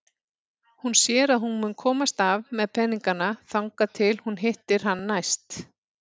Hún sér að hún mun komast af með peningana þangað til hún hittir hann næst.